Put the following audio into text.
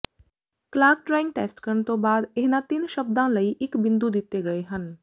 clock drawing test ਕਰਨ ਤੋਂ ਬਾਅਦ ਇਹਨਾਂ ਤਿੰਨ ਸ਼ਬਦਾਂ ਲਈ ਇਕ ਬਿੰਦੂ ਦਿੱਤੇ ਗਏ ਹਨ